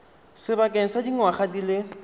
sebakeng sa dingwaga di le